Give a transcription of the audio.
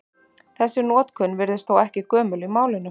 Þessi notkun virðist þó ekki gömul í málinu.